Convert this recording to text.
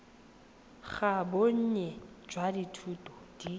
ga bonnye jwa dithuto di